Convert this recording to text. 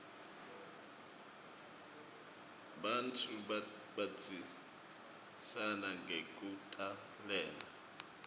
bantfu bandzisana ngekutalana